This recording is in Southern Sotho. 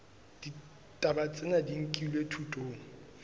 ditaba tsena di nkilwe thutong